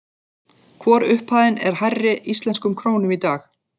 Hvor upphæðin er hærri íslenskum krónum í dag?